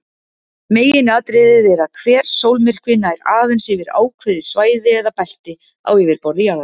Meginatriðið er að hver sólmyrkvi nær aðeins yfir ákveðið svæði eða belti á yfirborði jarðar.